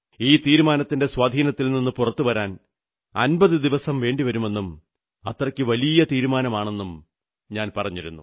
ഈ തീരുമാനത്തിന്റെ സ്വാധീനത്തിൽ നിന്നു പുറത്തുവരാൻ 50 ദിവസം വേണ്ടിവരുമെന്നും അത്രയ്ക്കു വലിയ തീരുമാനമാണെന്നും ഞാൻ പറഞ്ഞിരുന്നു